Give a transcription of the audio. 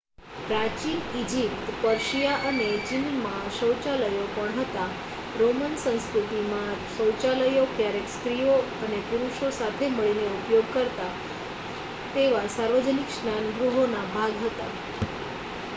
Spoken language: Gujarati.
પ્રાચીન ઇજિપ્ત પર્શિયા અને ચીનમાં શૌચાલયો પણ હતાં રોમન સંસ્કૃતિમાં શૌચાલયો ક્યારેક સ્ત્રીઓ અને પુરુષો સાથે મળીને ઉપયોગ કરતા તેવા સાર્વજનિક સ્નાન ગૃહોના ભાગ હતાં